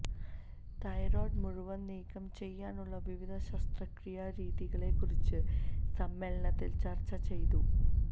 thyroid മുഴകൾ നീക്കംചെയ്യാനുള്ള വിവിധ ശസ്ത്രക്രിയാ രീതികളെക്കുറിച്ചു സമ്മേളനത്തിൽ ചർച്ച ചെയ്തു